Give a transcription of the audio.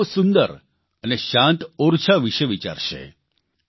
તો કેટલાક લોકો સુંદર અને શાંત ઓરછા વિષે વિચારશે